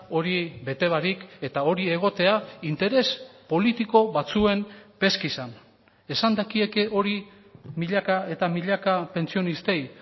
hori bete barik eta hori egotea interes politiko batzuen peskizan esan dakieke hori milaka eta milaka pentsionistei